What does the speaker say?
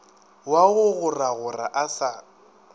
wa go goragora a sa